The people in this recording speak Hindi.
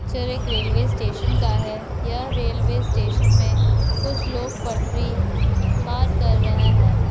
पिक्चर एक रेलवे स्टेशन का है यह रेलवे स्टेशन में कुछ लोग पटरी पार कर रहा है।